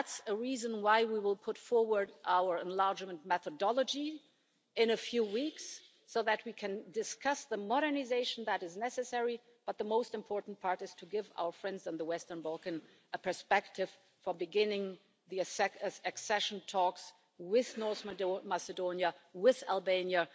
That's a reason why we will put forward our enlargement methodology in a few weeks, so that we can discuss the modernisation that is necessary, but the most important part is to give our friends in the Western Balkans a perspective for beginning the accession talks with North Macedonia and with Albania.